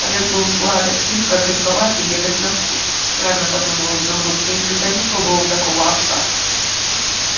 овёс был сладок слегка горьковат и едок на вкус странно подумал изумруд я никогда не пробовал такого овса